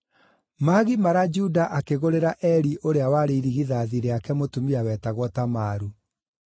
Maagimara Juda akĩgũrĩra Eri ũrĩa warĩ irigithathi rĩake, mũtumia wetagwo Tamaru.